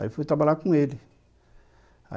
Aí eu fui trabalhar com ele.